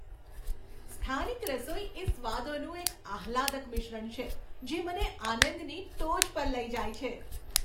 સ્થાનિક રસોઈ એ સ્વાદોનું એક આહલાદક મિશ્રણ છે, જે મને આનંદની ટોચ પર લઇ જાય છે.